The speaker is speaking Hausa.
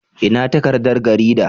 Ina takardar garida?